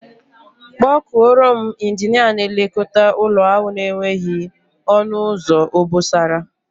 Kpọọ kuọrọ m Injinia na-elekota ụlọ ahu na-enweghị onu uzo obosara.